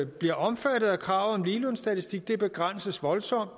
bliver omfattet af kravet om ligelønsstatistik begrænses voldsomt